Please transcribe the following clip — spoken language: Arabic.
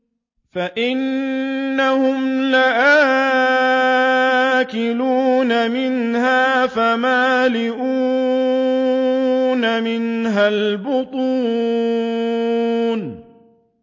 فَإِنَّهُمْ لَآكِلُونَ مِنْهَا فَمَالِئُونَ مِنْهَا الْبُطُونَ